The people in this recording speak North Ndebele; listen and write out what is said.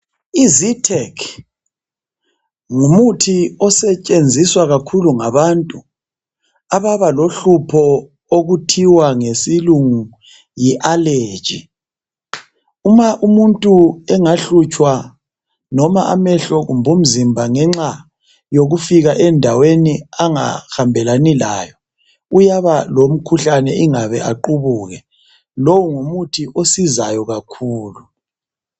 IZyrtec ngumuthi osetshenziswa kakhulu ngabantu ababalohlupho okuthiwa ngesilungu yiallegy uma umuntu engahlutshwa noma amehlo kumbe umzimba ngenxa yokufika endaweni angahambelani layo uyaba lomkhuhlane ingabe aqubuke. Lo ngumuthi osizayo kakhulu.